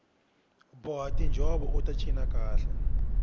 boha tinjhovo ut cina kahle